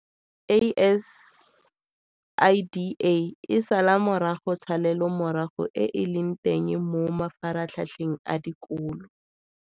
ASIDA e sala morago tshalelomorago e e leng teng mo mafaratlhatlheng a dikolo.